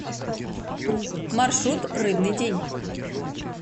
маршрут рыбный день